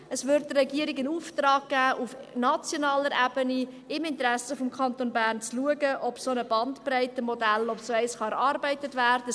Es würde der Regierung einen Auftrag geben, auf nationaler Ebene im Interesse des Kantons Bern zu schauen, ob ein solches Bandbreitenmodell erarbeitet werden kann.